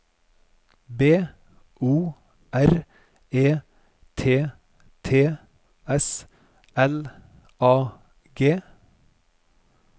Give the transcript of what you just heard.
B O R E T T S L A G